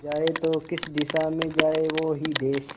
जाए तो किस दिशा में जाए वो ही देस